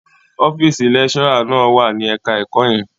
Ọ́fíísì lecturer náà wà ní ẹ̀ka-ẹ̀kọ́ yẹn.